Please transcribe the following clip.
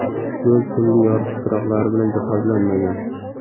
Yo‘l tungi yoritish chiroqlari bilan jihozlanmagan.